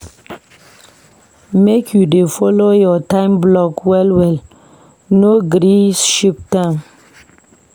Make you dey folo your time block well-well, no gree shift am